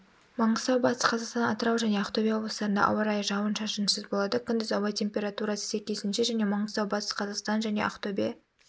маңғыстау батыс қазақстан атырау және ақтөбе облыстарында ауа райы жауын-шашынсыз болады күндіз ауа температурасы сәйкесінше және маңғыстау батыс қазақстан және ақтөбе